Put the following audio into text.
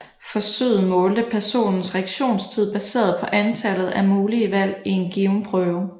Forsøget målte personens reaktionstid baseret på antallet af mulige valg i en given prøve